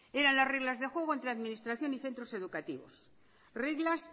eran las reglas de juego entre administración y centros educativos reglas